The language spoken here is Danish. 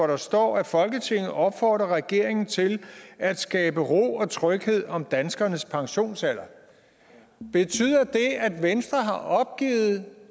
der står at folketinget opfordrer regeringen til at skabe ro og tryghed om danskernes pensionsalder betyder det at venstre har opgivet